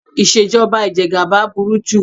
Ìṣèjọba ìjẹgaba burú jù.